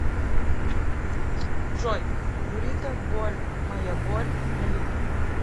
джой бурито боль моя боль на ютуб